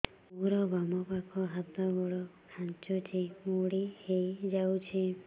ମୋର ବାମ ପାଖ ହାତ ଗୋଡ ଖାଁଚୁଛି ମୁଡି ହେଇ ଯାଉଛି